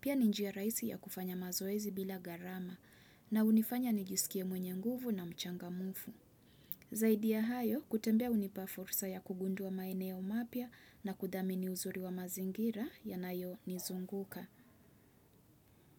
Pia ni njia raisi ya kufanya mazoezi bila garama na unifanya nijisikie mwenye nguvu na mchangamufu. Zaidi ya hayo, kutembea unipa fursa ya kugundua maeneo mapya na kudhamini uzuri wa mazingira ya nayo nizunguka.